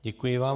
Děkuji vám.